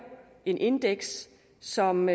et indeks som